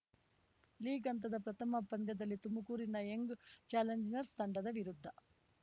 league ಹಂತದ ಪ್ರಥಮ ಪಂದ್ಯದಲ್ಲಿ ತುಮಕೂರಿನ ಯಂಗ್‌ ಚಾಲೆಂಜರ್ಸ್ ತಂಡದ ವಿರುದ್ಧ